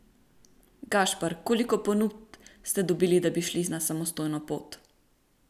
Gašper, koliko ponudb ste dobili, da bi šli na samostojno pot?